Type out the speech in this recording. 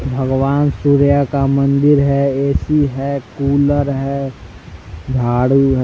भगवान् सूर्य का मंदिर है ए_सी है कूलर है झाड़ू है।